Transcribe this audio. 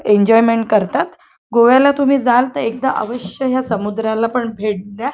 Enjoyment करतात गोव्याला तुम्ही जाल तर एकदा अवश्य ह्या समुद्राला पण भेट द्या.